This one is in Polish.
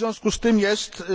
W związku z tym,